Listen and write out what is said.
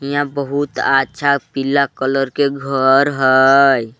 हियाँ बहुत अच्छा पीला कलर के घर हई।